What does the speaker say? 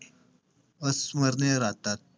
अस्मरणिय राहतात.